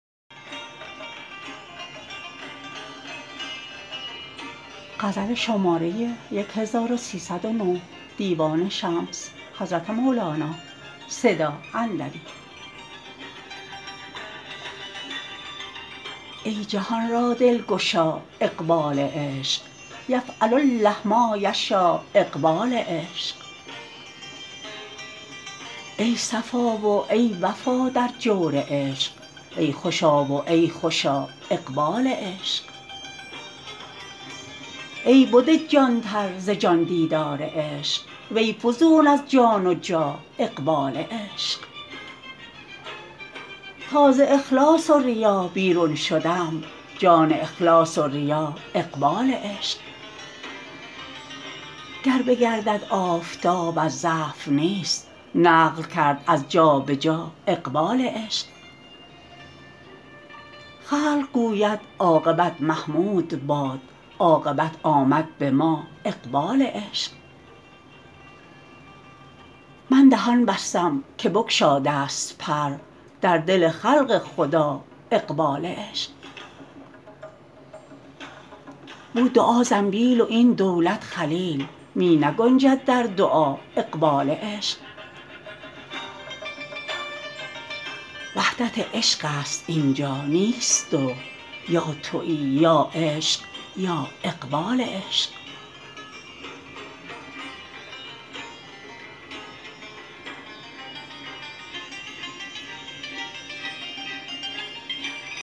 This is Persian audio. ای جهان را دلگشا اقبال عشق یفعل الله ما یشا اقبال عشق ای صفا و ای وفا در جور عشق ای خوشا و ای خوشا اقبال عشق ای بده جانتر ز جان دیدار عشق وی فزون از جان و جا اقبال عشق تا ز اخلاص و ریا بیرون شدم جان اخلاص و ریا اقبال عشق گر بگردد آفتاب از ضعف نیست نقل کرد از جا به جا اقبال عشق خلق گوید عاقبت محمود باد عاقبت آمد به ما اقبال عشق من دهان بستم که بگشادست پر در دل خلق خدا اقبال عشق بد دعا زنبیل و این دولت خلیل می نگنجد در دعا اقبال عشق وحدت عشقست این جا نیست دو یا توی یا عشق یا اقبال عشق